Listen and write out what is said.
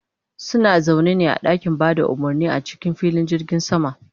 suna zaune ne a ɗakin Bada umurni a cikin filin jirgin sama